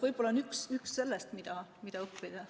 Võib-olla see on üks asi, mida õppida.